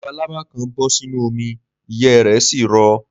Labalábá kan bọ́ sínú omi, ìyẹ́ ẹ rẹ̀ sì rọ.